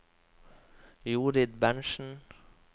Jorid Berntzen